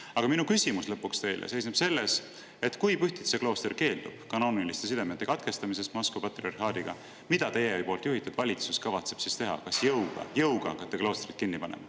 Aga minu küsimus teile seisneb lõpuks selles, et kui Pühtitsa klooster keeldub Moskva patriarhaadiga kanooniliste sidemete katkestamisest, mida teie juhitud valitsus kavatseb siis teha, kas jõuga hakata kloostrit kinni panema.